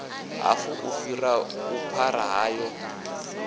hafu u fhira vhuphara hayo